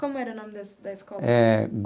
Como era o nome da da escola? Eh.